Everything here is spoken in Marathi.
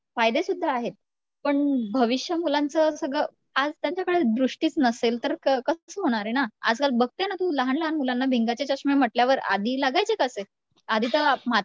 फायदे सुद्धा आहेत, पण भविष्य मुलांचं सगळं आज त्यांच्याकडे दृष्टीच नसेल तर कसं होणार आहे ना आजकाल बघते ना तू लहान लहान मुलांना भिंगाचे चष्मे म्हंटल्यावर आधी लागायचे का असे आधी तर